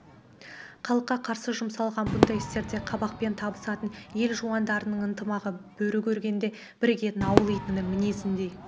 халыққа қарсы жұмсалған бұңдай істерде қабақпен табысатын ел жуандарының ынтымағы бөрі көргенде бірігетін ауыл итінің мінезіндей